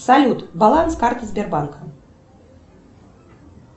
салют баланс карты сбербанка